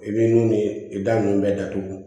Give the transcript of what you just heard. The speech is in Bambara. I bɛ nun ye i da nunnu bɛɛ datugu